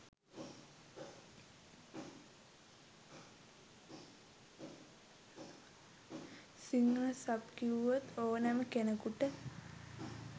Sinhala sub කිව්වොත් ඕනැම කෙනෙකුට